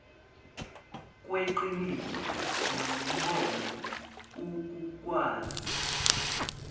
kweqiniso nombono ukukwazi